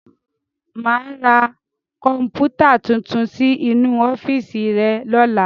Máa ra Kọ̀npútà tuntun sí inú ọ́fíìsì rẹ lọ́la.